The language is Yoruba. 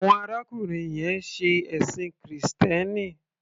Awon arákùnrin yẹn ń ṣe ẹ̀ṣìn krìstẹ́nì.